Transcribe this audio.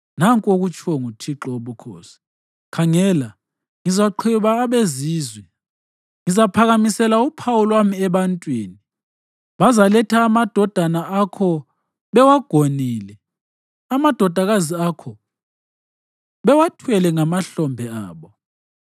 Nanku okutshiwo nguThixo Wobukhosi: “Khangela, ngizaqhweba abeZizwe. Ngizaphakamisela uphawu lwami ebantwini; bazaletha amadodana akho bewagonile, amadodakazi akho bewathwele ngamahlombe abo.